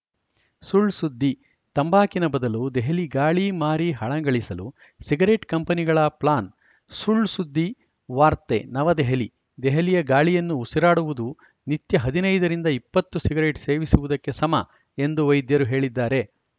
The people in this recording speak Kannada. ಸುಳ್‌ ಸುದ್ದಿ ತಂಬಾಕಿನ ಬದಲು ದೆಹಲಿ ಗಾಳಿ ಮಾರಿ ಹಣ ಗಳಿಸಲು ಸಿಗರೆಟ್‌ ಕಂಪನಿಗಳ ಪ್ಲಾನ್‌ ಸುಳ್‌ಸುದ್ದಿ ವಾರ್ತೆ ನವದೆಹಲಿ ದೆಹಲಿಯ ಗಾಳಿಯನ್ನು ಉಸಿರಾಡುವುದು ನಿತ್ಯ ಹದಿನೈದ ರಿಂದ ಇಪ್ಪತ್ತು ಸಿಗರೆಟ್‌ ಸೇವಿಸುವುದಕ್ಕೆ ಸಮ ಎಂದು ವೈದ್ಯರು ಹೇಳಿದ್ದಾರೆ